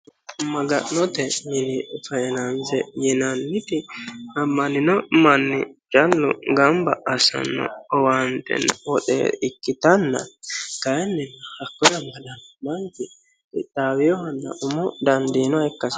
Magga'note mini faayinanise yinanniti ama'nino manni callu gamibba asino owannittena woxxe ikkitana kaayini hakkone amadanno manichi qiixawinohana umo danidinnoha ikka hasisanno